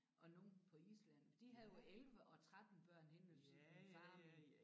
Og nogle på Island de havde jo 11 og 13 børn henne ved min far og min